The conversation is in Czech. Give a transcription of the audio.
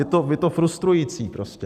Je to frustrující prostě.